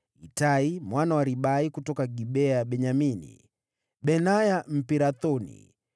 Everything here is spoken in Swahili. Itai mwana wa Ribai kutoka Gibea ya Benyamini, Benaya Mpirathoni,